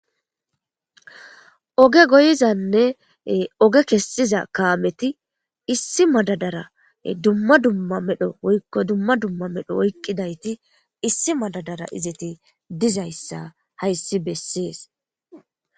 oge goyzanne oge kessiza kaameti issi madadara dumma dumma medho woykko dumma dumma medho oyqqidayti issi madadara izeti dizayssa hayssi bessees